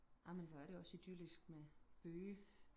amen hvor er det også idyllisk med bøge